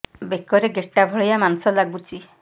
ବେକରେ ଗେଟା ଭଳିଆ ମାଂସ ଲାଗୁଚି